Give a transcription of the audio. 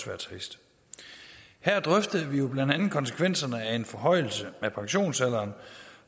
være trist her drøftede vi blandt andet konsekvenserne af en forhøjelse af pensionsalderen